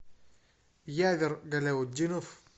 явер галяутдинов